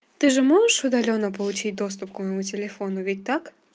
ты же можешь удалённо получить доступ к моему телефону ведь так